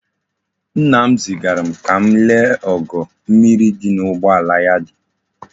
Nna m zigaram ka m lee ogo mmiri di n'ugboala ya di.